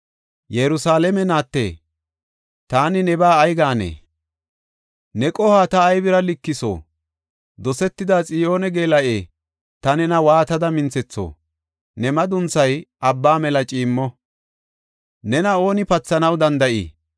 Yerusalaame naatte, taani nebaa ay gaanee? ne qohuwa ta aybira ginayo? Dosetida Xiyoone geela7e, ta nena waatada minthetho? Ne madunthay abba mela ciimmo; nena ooni pathanaw danda7ii?